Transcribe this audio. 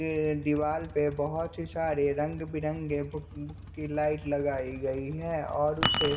ये दीवाल पे बहुत सारे रंग बिरंगे भूख भुक्की लाइट लगाई गई है और उसे--